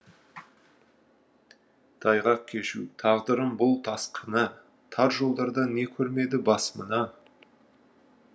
тайғақ кешу тағдырым бұл тас қына тар жолдарда не көрмеді бас мына